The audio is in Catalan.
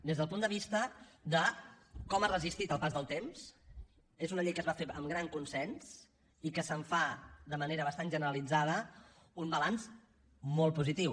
des del punt de vista de com ha resistit el pas del temps és una llei que es va fer amb gran consens i que se’n fa de manera bastant generalitzada un balanç molt positiu